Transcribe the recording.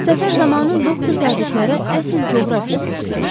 Səfər zamanı doktor zabitlərə əsl coğrafiya kursu keçdi.